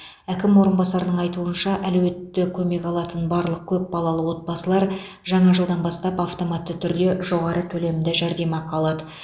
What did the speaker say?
әкім орынбасарының айтуынша әлеуетті көмек алатын барлық көп балалы отбасылар жаңа жылдан бастап автоматты түрде жоғары төлемді жәрдемақы алады